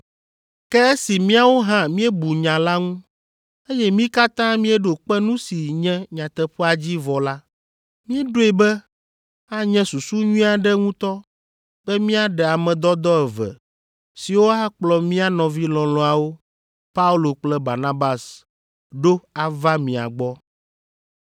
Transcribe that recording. Ke esi míawo hã míebu nya la ŋu, eye mí katã míeɖo kpe nu si nye nyateƒea dzi vɔ la, míeɖoe be anye susu nyui aɖe ŋutɔ be míaɖe ame dɔdɔ eve siwo akplɔ mía nɔvi lɔlɔ̃awo, Paulo kple Barnabas, ɖo ava mia gbɔ.